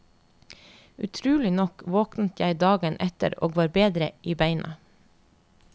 Utrolig nok våknet jeg dagen etter og var bedre i beina.